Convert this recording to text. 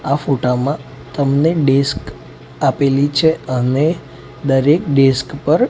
આ ફોટામાં તમને ડિસ્ક આપેલી છે અને દરેક ડિસ્ક પર--